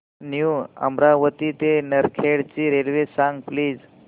new Amravati ते नरखेड ची railway सांग प्लीज